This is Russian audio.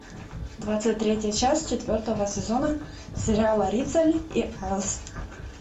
двадцать третья часть четвертого сезона сериала риццоли и айлс